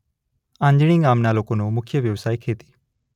આંજણી ગામના લોકોનો મુખ્ય વ્યવસાય ખેતી